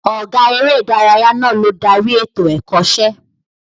Ọ̀gá eré ìdárayá náà ló darí ètò Ẹ̀kọ́ṣẹ́